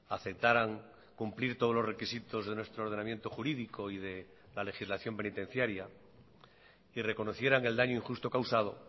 aceptaran cumplir todos los requisitos de nuestro ordenamiento jurídico y de la legislación penitenciaria y reconocieran el daño injusto causado